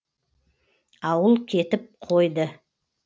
ауыл кетіп қойды